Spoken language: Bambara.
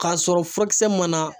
K'a sɔrɔ furakisɛ mana